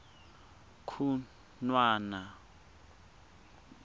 khunwana